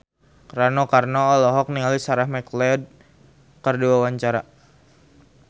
Rano Karno olohok ningali Sarah McLeod keur diwawancara